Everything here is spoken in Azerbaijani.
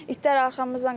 İtlər arxamızdan qaçır.